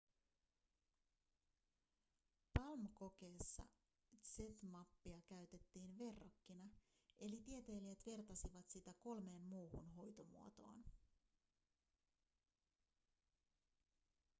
palm-kokeessa zmappia käytettiin verrokkina eli tieteilijät vertasivat sitä kolmeen muuhun hoitomuotoon